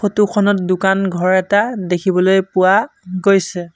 Photo খনত দোকান ঘৰ এটা দেখিবলৈ পোৱা গৈছে।